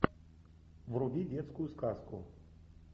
вруби детскую сказку